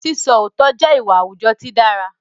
Sísọ òótọ́ jẹ́ ìwà àwùjọ tí dára